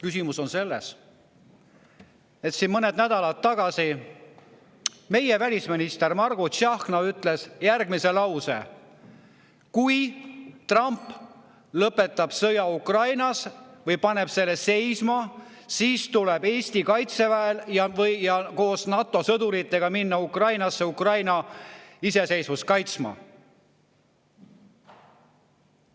Küsimus on selles, et mõned nädalad tagasi meie välisminister Margus Tsahkna ütles, et kui Trump lõpetab sõja Ukrainas või paneb selle seisma, siis tuleb Eesti kaitseväel koos NATO sõduritega minna Ukrainasse Ukraina iseseisvust kaitsma.